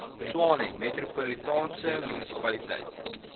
tshwane metropolitaanse munisipaliteit